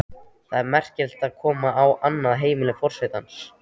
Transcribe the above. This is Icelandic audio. Það er merkilegt að koma á annað heimili forsetans.